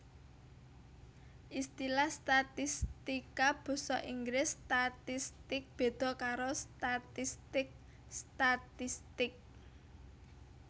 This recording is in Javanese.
Istilah statistika basa Inggris statistics béda karo statistik statistic